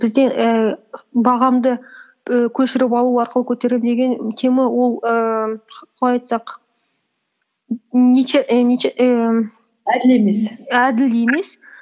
бізде ііі бағамды і көшіріп алу арқылы көтеремін деген тема ол ііі қалай айтсақ әділ емес і әділ емес